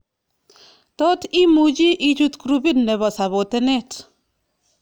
Tot imach ichut grupit nebo sapotenet